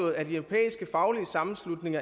af den europæiske faglige sammenslutning